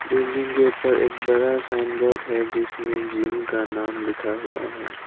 Building के ऊपर एक बड़ा साइन बोर्ड है जिसमें जिम का नाम लिखा हुआ है।